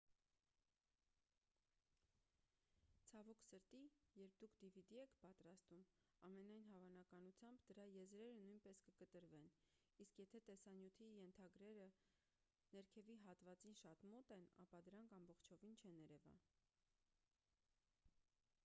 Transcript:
ցավոք սրտի երբ դուք dvd եք պատրաստում ամենայն հավանականությամբ դրա եզրերը նույնպես կկտրվեն իսկ եթե տեսանյութի ենթագրերը ներքևի հատվածին շատ մոտ են ապա դրանք ամբողջովին չեն երևա